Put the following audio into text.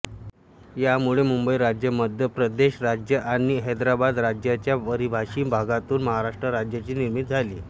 यामुळे मुंबई राज्य मध्यप्रदेश राज्य आणि हैदराबाद राज्यच्या मराठीभाषी भागातून महाराष्ट्र राज्याची निर्मिती झाली